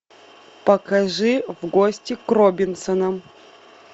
покажи в гости к робинсонам